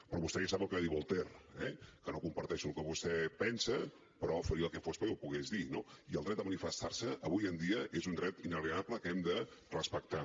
però vostè ja sap el que diu voltaire eh que no comparteixo el que vostè pensa però faria el que fos perquè ho pogués dir no i el dret a manifestar se avui en dia és un dret inalienable que hem de respectar